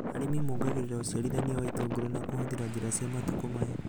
Arĩmi mongagĩrĩra ũciarithania wa itũngũrũ na kũhũthĩra njĩra cia matukũ maya